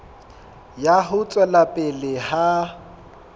ya ho tswela pele ha